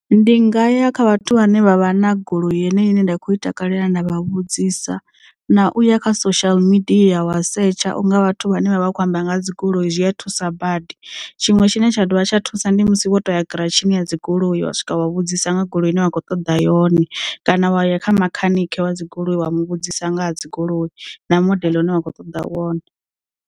Ndi nga ya kha vhathu vhane vha vha na goloi yeneyi ine nda kho i takalela nda vha vhudzisa na uya kha social media wa setsha unga vhathu vhane vha vha khou amba nga dzigoloi zwi a thusa badi tshiṅwe tshine tsha dovha tsha thusa ndi musi wo toya giratshini ya dzi goloi wa swika wa vhudzisa nga goloi ine wa kho ṱoḓa yone kana wa ya kha makhanikhe wa dzigoloi wa mu vhudzisa nga ha dzigoloi na modele une wa kho ṱoḓa wone.